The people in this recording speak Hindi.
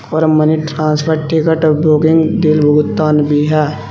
और money transfer ticket booking bill भुगतान भी है।